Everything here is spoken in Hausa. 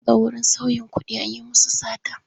An shiga wurin sauyin kuɗi an yi musu sata.